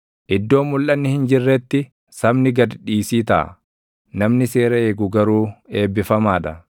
Iddoo mulʼanni hin jirretti sabni gad dhiisii taʼa; namni seera eegu garuu eebbifamaa dha.